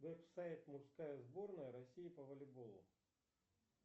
веб сайт мужская сборная россии по волейболу